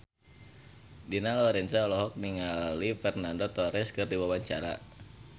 Dina Lorenza olohok ningali Fernando Torres keur diwawancara